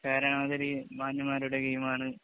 മാന്യന്മാരുടെ game ആണ്.